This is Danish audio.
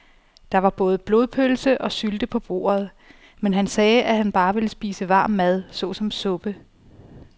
Der var både blodpølse og sylte på bordet, men han sagde, at han bare ville spise varm mad såsom suppe.